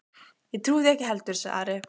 Ég trúi því ekki heldur, sagði Ari.